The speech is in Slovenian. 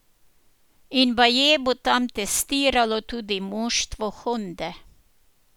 In baje bo tam testiralo tudi moštvo Honde.